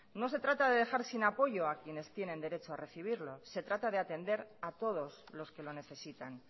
no se trata de dejar sin apoyo a quienes tienen derecho a quienes tienen derecho a recibirlo se trata de atender a todos los que lo necesitan